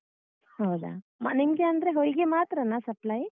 ಹೌದಾ ಅಹ್ ನಿಮ್ಗೆ ಅಂದ್ರೆ ಹೊಯ್ಗೆ ಮಾತ್ರನಾ supply?